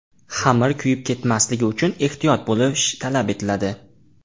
Xamir kuyib ketmasligi uchun ehtiyot bo‘lish talab etiladi.